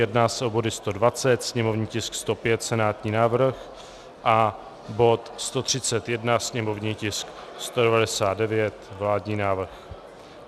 Jedná se o body 120, sněmovní tisk 105, senátní návrh, a bod 131, sněmovní tisk 199, vládní návrh.